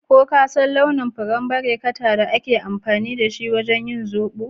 Ko ka san launin furen barekata da ake amfani da ita wajen yin zobo?